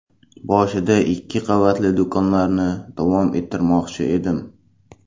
Boshida ikki qavatli do‘konlarni davom ettirmoqchi edim.